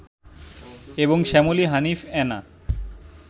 এবং শ্যামলী, হানিফ, এনা